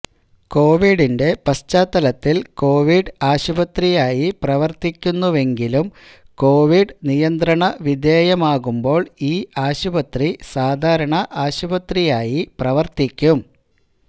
കോവിഡിന്റെ പശ്ചാത്തലത്തിൽ കോവിഡ് ആശുപത്രിയായി പ്രവർത്തിക്കുന്നുവെങ്കിലും കോവിഡ് നിയന്ത്രണ വിധേയമാകുമ്പോൾ ഈ ആശുപത്രി സാധാരണ ആശുപത്രിയായി പ്രവർത്തിക്കും